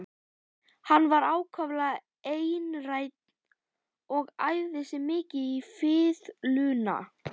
Hann var ákaflega einrænn og æfði sig mikið á fiðluna.